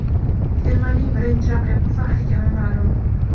Termaning birinchi raqibi va hakami ma’lum .